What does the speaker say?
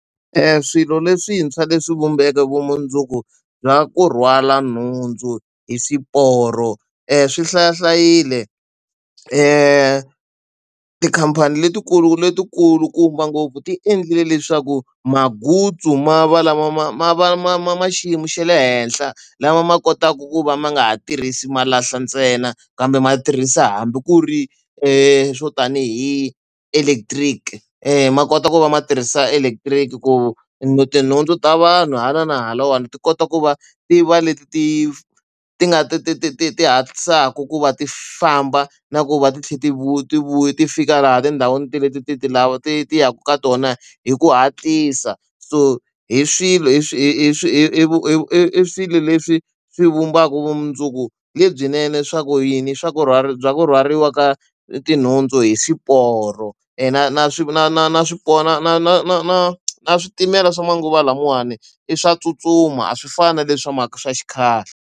Swilo leswintshwa leswi vumbeke vumundzuku bya ku rhwala nhundzu hi swiporo swi hlaya hlayile tikhampani letikulu lebyikulukumba ngopfu ti endlile leswaku mangutsu ma va lama ma ma ma ma ma ma xiyimo xa le henhla lama ma kotaka ku va ma nga ha tirhisi malahla ntsena kambe ma tirhisa hambi ku ri swo tanihi electric ma kota ku va ma tirhisa electric ku no tinhundzu ta vanhu hala na halawani ti kota ku va ti va leti ti ti nga ti ti ti ti ti hatlisaka ku va ti famba na ku va ti tlhela ti vuya ti vuyi ti fika laha tindhawini leti ti ti ti ti yaka ka tona hi ku hatlisa so hi swilo hi swi swi i swilo leswi swi vumbaka vumundzuku lebyinene swa ku yini swa ku rhwala bya ku rhwariwa ka ti nhundzu hi swiporo yena na swi na na na swiporo na na na na na na switimela swa manguva lamawani i swa tsutsuma a swi fani na leswiya swa xikhale.